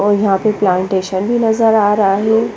और यहा पे प्लानटेसन भी नज़र आ रहा है।